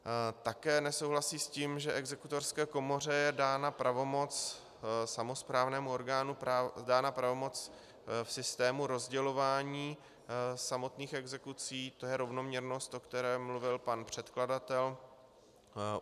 Také nesouhlasí s tím, že exekutorské komoře je dána pravomoc, samosprávnému orgánu, dána pravomoc v systému rozdělování samotných exekucí, to je rovnoměrnost, o které mluvil pan předkladatel.